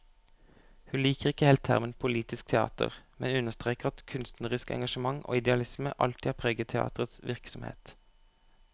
Hun liker ikke helt termen politisk teater, men understreker at kunstnerisk engasjement og idealisme alltid har preget teaterets virksomhet.